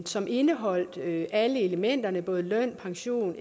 som indeholdt alle elementerne både løn pension